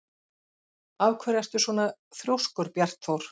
Af hverju ertu svona þrjóskur, Bjartþór?